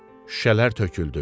Şüşələr töküldü.